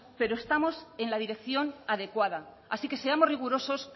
pero estamos en la dirección adecuada así que seamos rigurosos